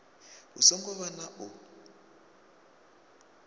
hu songo vha na u